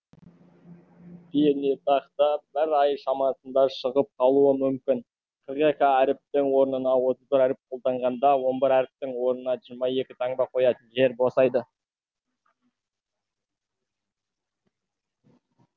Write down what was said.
пернетақта бір ай шамасында шығып қалуы мүмкін қырық екі әріптің орнына отыз бір әріп қолданғанда он бір әріптің орнына жиырма екі таңба қоятын жер босайды